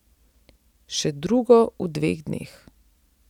Še drugo v dveh dneh.